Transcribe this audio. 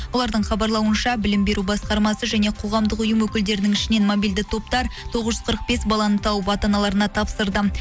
олардың хабарлауынша білім беру басқармасы және қоғамдық ұйым өкілдерінің ішінен мобильді топтар тоғыз жүз қырық бес баланы тауып ата аналарына тапсырды